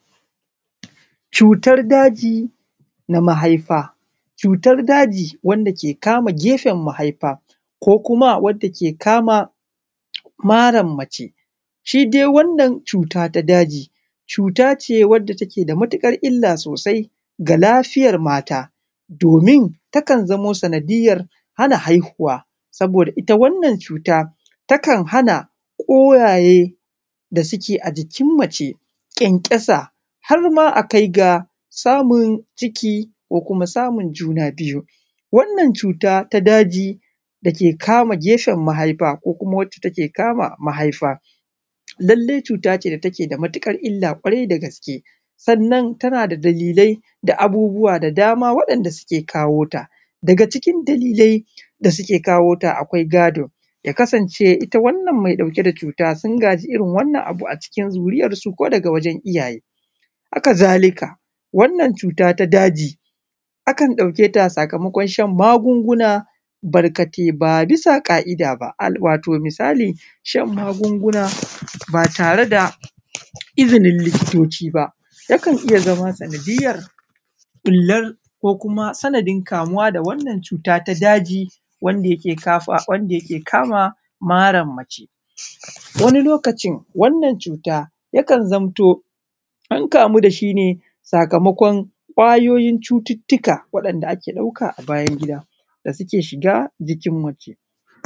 Cutar daji na mahaifa, cutar daji wanda ke kama gefen mahaifa ko kuma wanda yake kama maran mace shi dai wannan cuta ta daji cuta ce wacce take da matukar illa sosai ga lafiyar mata domin takan zamo sanadiyar hana haihuwa saboda ita wannan cuta takan hana ƙwayayen da suke a cikin mace ƙyanƙyasa harma akai ga samun ciki ko kuma samun juna biyu, wannan cuta ta daji dake kama gefen mahaifa ko kuma wacce take kama mahaifa, lallai cuta ce da take da matukar illa ƙwarai da gaske sannan tana da dalilai da abubuwa da dama waɗanɗa suke kawo ta daga cikin, dalilai da suke kawo ta akwai gado ta kasance ita wannan me ɗauke da cuta tana da dalilai da abubuwa da dama waɗanɗa suke kawo ta daga cikin dalilai da suke kawo ta akwai gado ta kasance ita wannan mai ɗauke da cutan sun gaji irin wannan abu a cikin zuri’ar su ko daga wajen iyaye, haka zalika wannan cuta ta daji akan ɗauke ta sakamakon shan magunguna barkatai ba bisa ƙa’ida ba wato misali shan magunguna ba tare da izinin likitoci ba yakan iya zama sanadiyar bular ko kuma sanadin kamuwa da wannan cuta ta daji wanda yake kama maran mace wani lokacin wannan cuta yakan zamto an kamu dashi ne sakamakon ƙwayoyin cututuka waɗanɗa ake ɗauka a bayan gida da suke shiga jikin mace.